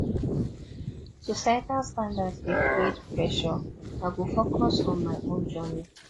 societal standards dey create pressure i go focus on my own journey